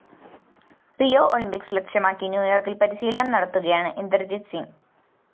Rio Olympics ലക്ഷ്യമാക്കി ന്യൂയോര്‍ക്കില്‍ പരിശീലനം നടത്തുകയാണ് ഇന്ദര്‍ജീത് സിംഗ്